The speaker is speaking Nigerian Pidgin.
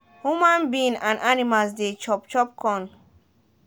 huma being and animals de chop chop corn